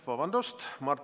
Vabandust!